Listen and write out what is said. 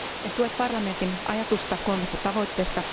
En tue parlamentin ajatusta kolmesta tavoitteesta.